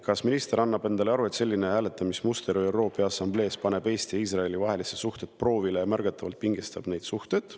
Kas minister annab endale aru, et selline hääletamismuster ÜRO Peaassambleel paneb Eesti ja Iisraeli vahelised suhted proovile ja märgatavalt pingestab suhteid?